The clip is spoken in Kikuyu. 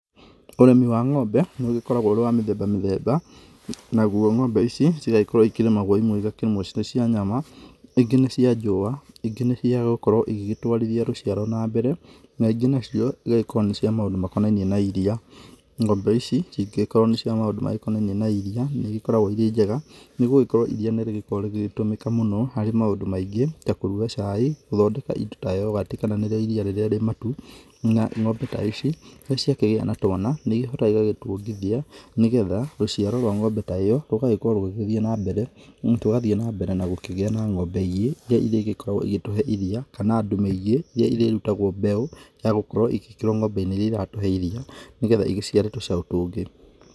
Ũrĩmi wa ng'ombe nĩ ũkoragwo ũrĩ wa mĩthemba mĩthemba. Naguo ng'ombe ici cigagĩkorwo irĩ na ũguni mwega. Imwe ikĩrĩ cia nyama, ingĩ nĩ cia njũwa, ingĩ nĩ cia gũkorwo igĩgĩtwarithia rũciaro na mbere na ingĩ nacio ĩgagĩkorwo nĩ cia maũndũ makonainie na ĩriya. Ng'ombe ici cingĩkorwo na cia maũndũ makonainie na ĩriya nĩ ĩgĩkoragwo irĩ njega nĩgũgĩkorwo ĩriya nĩrĩkoragwo rĩgĩtũmĩka mũno harĩ maũndũ maingĩ ta kũruga cai, gũthondeka ĩndo ta yogati kana nĩrĩo ĩriya rĩrĩa ĩmatu. Na ng'ombe ta ici rĩrĩa ciakĩgĩa na twana nĩ ihotaga gũgĩtuongithia nĩgetha rũciaro rwa ng'ombe ta ĩyo rũgakorwo rũgĩthiĩ na mbere na tũgathiĩ na mbere na gũkĩgĩa na ng'ombe ingĩ irĩa ingĩ korwo igĩtũhe ĩriya kana ndume ingĩ irĩa irĩrutagwo mbegũ ya gũkorwo igĩkĩrwo ng'ombe-inĩ ingĩ iria iratũhe ĩriya nĩgetha igĩciare tũcaũ tũngĩ.